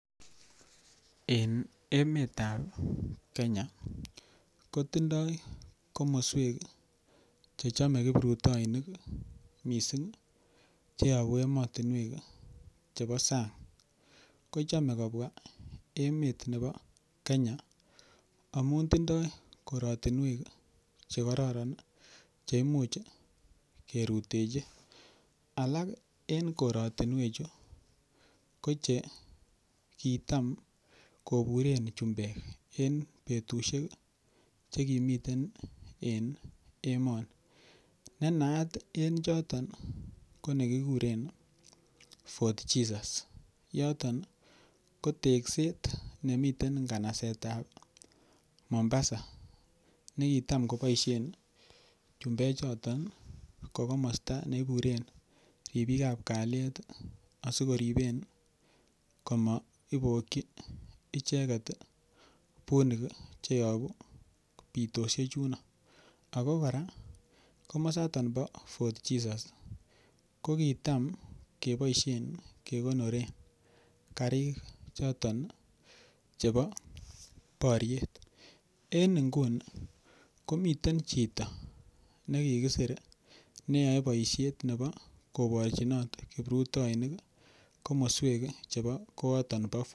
En emet ab Kenya kotindoi komoswek che chome kiprutoinik mising che yobu emotinwek chebo sang. Kochame kobwa emet nebo Kenya amun tindoi koratinwek che kororon che imuch kirutechi alak en korotinwechu ko che kitam koburen chumbek en betusiek che kimiten en emoni. Ne naat en choton ko nekikuren Fort Jesus. Yoton ko tekset nemiten nganaset ab Mombasa ne kitam koboisien chumbechoton ko komosta ne iburen ripik ab kalyet asikoripen komaiboki icheget bunik che yobu bitoshek chuno. Ago kora komosato bo Fort Jesus ko kitam keboisien kekonoren karik choton chebo boryet. En nguni komiten chito ne kigisir neyoe boisiet nebo koborchinot kiprutoinik komoswek chebo kooton.